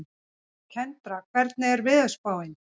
Kendra, hvernig er veðurspáin?